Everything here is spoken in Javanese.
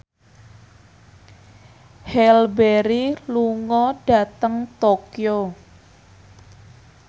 Halle Berry lunga dhateng Tokyo